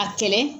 A kɛlɛ